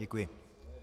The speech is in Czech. Děkuji.